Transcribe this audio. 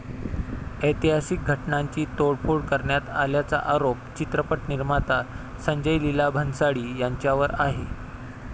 ऐतिहासिक घटनांची तोडफोड करण्यात आल्याचा आरोप चित्रपट निर्माता संजय लिला भन्साळी यांच्यावर आहे.